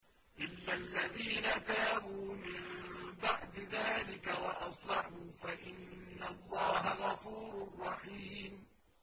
إِلَّا الَّذِينَ تَابُوا مِن بَعْدِ ذَٰلِكَ وَأَصْلَحُوا فَإِنَّ اللَّهَ غَفُورٌ رَّحِيمٌ